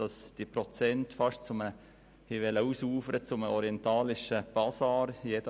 Die Prozente wären aber beinahe zu einem orientalischen Basar ausgeufert: